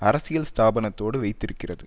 அரசியல் ஸ்தாபனத்தோடு வைத்திருக்கிறது